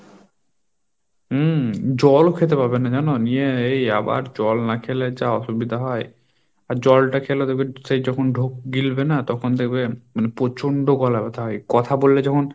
হুম, জলও খেতে পাবে না জানো? নিয়ে এই আবার জল না খেলে যা অসুবিধা হয়, আর জলটা খেলে দেখবে সেই যখন ঢোক গিলবে না তখন দেখবে মানে প্রচন্ড গলা ব্যথা হয়, কথা বললে যখন